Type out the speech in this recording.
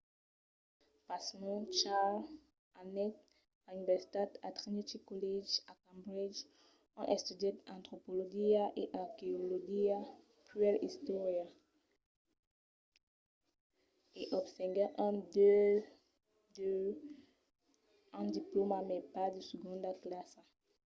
pasmens charles anèt a l'universitat a trinity college a cambridge ont estudièt antropologia e arqueologia puèi istòria e obtenguèt un 2:2 un diplòma mai bas de segonda classa